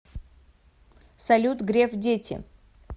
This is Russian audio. салют греф дети